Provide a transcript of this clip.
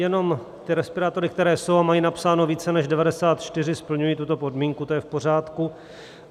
Jenom ty respirátory, které jsou a mají napsáno více než 94, splňují tuto podmínku, to je v pořádku.